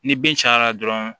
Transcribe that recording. Ni bin cayara dɔrɔn